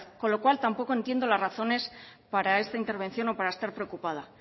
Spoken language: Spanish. con lo cual tampoco entiendo las razones para esta intervención o para estar preocupada